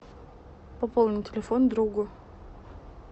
пополнить телефон другу